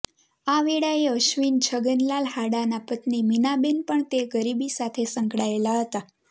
આ વેળાએ અશ્વિન છગનલાલ હાડાના પત્ની મીનાબેન પણ તે ગરબી સાથે સંકળાયેલા હતા